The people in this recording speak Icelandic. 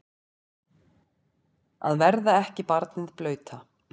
Að verða ekki barnið blauta